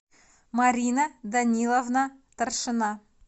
марина даниловна торшина